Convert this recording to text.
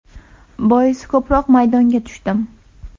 Boisi ko‘proq maydonga tushdim.